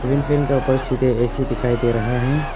Fan के ऊपर सीधे ए_सी दिखाई दे रहा है।